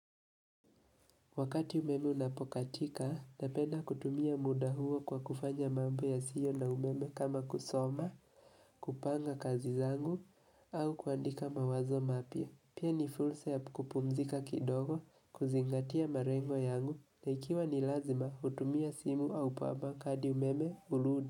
Wakati umeme unapokatika, napenda kutumia muda huo kwa kufanya mambo ya sio na umeme kama kusoma, kupanga kazi zangu, au kuandika mawazo mapya. Pia ni fursa ya kupumzika kidogo, kuzingatia marengwa yangu, naikiwa ni lazima hutumia simu au pawa bank hadi umeme hurudi.